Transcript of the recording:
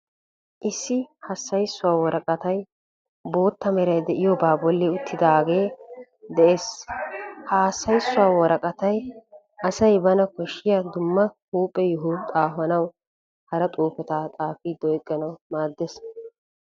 Issi hassayssuwa woraqatay bootta meray de"iyoba bolli uttidaage de'ees. Ha hassayssuwa woraqatay asay bana koshshiya dumma huuphe yoho qofatanne hara xuufeta xaafidi oyqqanawu maaddees.